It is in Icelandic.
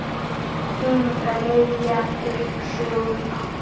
Hún rifjar upp söguna.